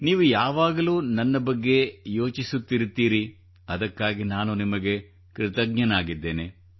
ನೀವು ಯಾವಾಗಲೂ ನನ್ನ ಬಗ್ಗೆ ಯೋಚಿಸುತ್ತಿರುತ್ತೀರಿ ಅದಕ್ಕಾಗಿ ನಾನು ನಿಮಗೆ ಕೃತಜ್ಞನಾಗಿದ್ದೇನೆ